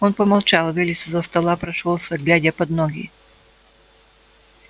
он помолчал вылез из за стола прошёлся глядя под ноги